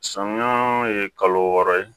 Samiya ye kalo wɔɔrɔ ye